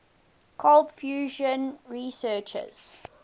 cold fusion researchers